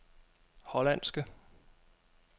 hollandske